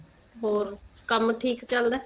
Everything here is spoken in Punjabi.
ਹੋਰ ਕੰਮ ਠੀਕ ਚੱਲਦਾ